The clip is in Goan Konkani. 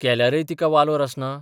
केल्याख्य तिका वालोर आसना?